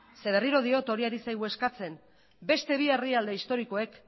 zeren eta berriro diot hori ari zaigu eskatzen beste bi herrialde historikoek